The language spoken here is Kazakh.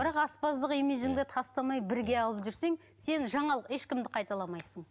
бірақ аспаздық имиджіңді тастамай бірге алып жүрсең сен жаңа ешкімді қайталамайсың